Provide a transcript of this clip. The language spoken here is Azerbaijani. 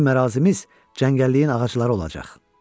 Bizim ərazimiz cəngəlliyin ağacları olacaq.